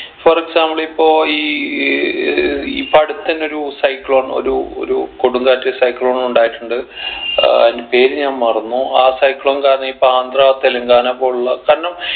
for example ഇപ്പൊ ഈ ഏർ ഇപ്പൊ അടുത്തന്നൊരു cyclone ഒരു ഒരു കൊടുംകാറ്റ് cyclone ഉണ്ടായിട്ടുണ്ട് ഏർ അയിൻ്റെ പേര് ഞാൻ മറന്നു ആ cyclone കാരണം ഇപ്പൊ ആന്ധ്ര തെലുങ്കാന പോലുള്ള കാരണം